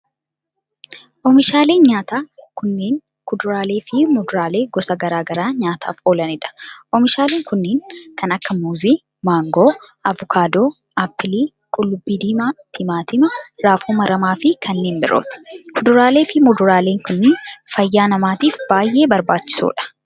Oomishaaleen nyaataa kunneen, kuduraalee fi muduraalee gosa garaa garaa nyaataaf oolanii dha. Oomishaaleen kunneen, kan akka: muuzii, maangoo, avokaadoo, appilii, qullubbii diimaa, timaatima raafuu maramaa fi kanneen birooti. kuduraalee fi muduraaleen kunneen, fayyaa namaatif baay'ee barbaachisoo dha.